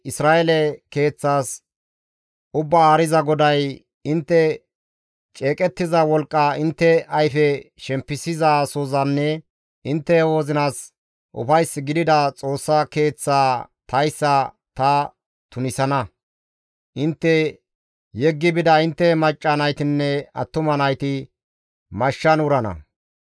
Isra7eele keeththas Ubbaa Haariza GODAY, ‹Intte ceeqettiza wolqqa, intte ayfe shempisizasozanne intte wozinas ufays gidida Xoossa Keeththaa tayssa ta tunisana. Intte yeggi bida intte macca naytinne attuma nayti mashshan wurana.